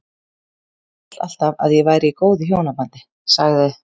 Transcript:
Ég hélt alltaf að ég væri í góðu hjónabandi- sagði